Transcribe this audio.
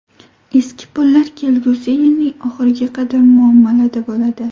Eski pullar kelgusi yilning oxiriga qadar muomalada bo‘ladi.